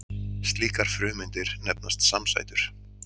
Slíkar frumeindir nefnast samsætur.